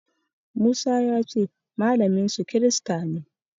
Musa ya ce malaminsu kirista ne.